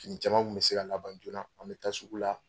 fini caman kun bi se ka laban an be taa sugu la.